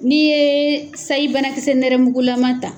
N'i ye sayi banakisɛ nɛrɛmugulama ta